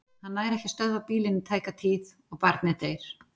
Hann nær ekki að stöðva bílinn í tæka tíð og barnið deyr.